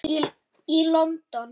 í London.